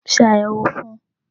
Ṣe àyẹ̀wò fún un